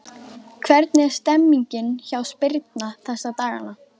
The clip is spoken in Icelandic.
Hvernig er stemmningin hjá Spyrni þessa dagana?